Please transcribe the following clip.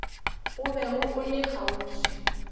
o bego o le kgauswi